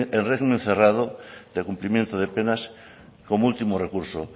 en régimen cerrado de cumplimiento de penas como último recurso